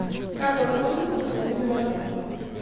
как воспользоваться услугами в отеле